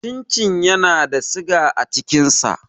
Cin cin yana da siga a cikin sa.